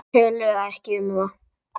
Töluðu ekki um það.